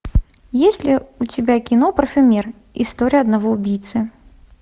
есть ли у тебя кино парфюмер история одного убийцы